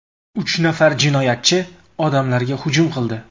Uch nafar jinoyatchi odamlarga hujum qildi.